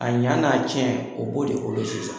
A ɲa n'a cɛn, o b'o de bolo sisan